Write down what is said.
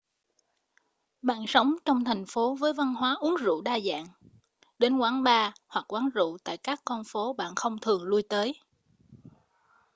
bạn sống trong thành phố với văn hóa uống rượu đa dạng đến quán bar hoặc quán rượu tại các con phố bạn không thường lui tới